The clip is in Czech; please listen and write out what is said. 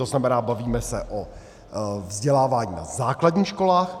To znamená, bavíme se o vzdělávání na základních školách.